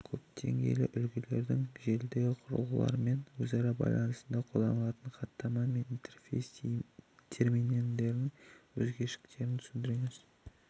көпдеңгейлі үлгілердің желідегі құрылғылармен өзара байланысында қолданылатын хаттама мен интерфейс терминдерінің өзгешеліктерін түсіндіріңіз